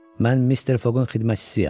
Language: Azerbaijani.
Mən Mister Foqun xidmətçisiyəm.